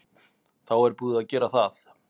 Þá er búið að gera það.